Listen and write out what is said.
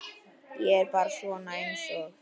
Ég er bara svona einsog.